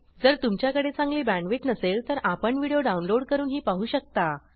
जर तुमच्याकडे चांगली बॅण्डविड्थ नसेल तर आपण व्हिडिओ डाउनलोड करूनही पाहू शकता